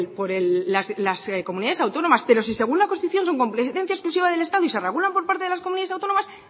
por las comunidades autónomas pero si según la constitución su competencia exclusiva del estado y se regulan por parte de las comunidades autónomas